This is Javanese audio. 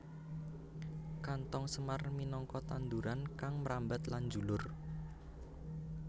Kanthong semar minangka tanduran kang mrambat lan njulur